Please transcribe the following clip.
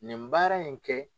Nin baara in kɛ